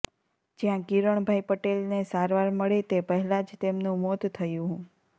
જયાં કિરણભાઇ પટેલને સારવાર મળે તે પહેલાં જ તેમનુ મોત થયુ હું